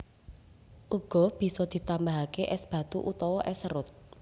Uga bisa ditambahake es batu utawa es serut